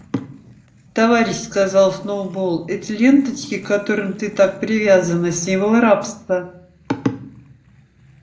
товарищ сказал сноуболл эти ленточки к которым ты так привязана символ рабства